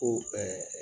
Ko ɛɛ